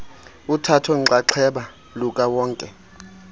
uthatho nxaxheba lukawonke